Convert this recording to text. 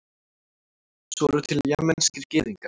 svo eru til jemenskir gyðingar